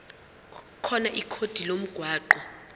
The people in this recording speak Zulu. khona ikhodi lomgwaqo